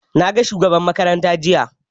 Na ga shugaban makaranta jiya